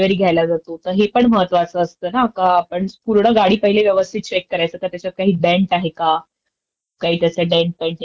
आणि काही तरी छोटीशी स्क्रॅच किंवा काही डेंट कुठे तरी असतो, तर हे जर आपण आधीचं चेक नाही केल तर ज्याने त्यामुळे आपल्याला पुढे खूप त्रास होऊ शकतो.